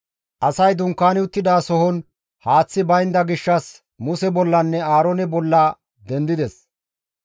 Asay dunkaani uttidasohon haaththi baynda gishshas Muse bollanne Aaroone bolla dendides.